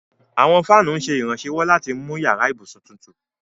Àwọn fáanù ǹ ṣẹ irànṣéwọ̀ lati mú yara-íbusun tùtù.